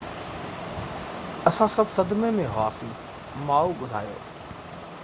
اسان سڀ صدمي ۾ هئاسين ماءُ ٻڌايو